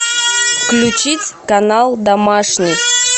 включить канал домашний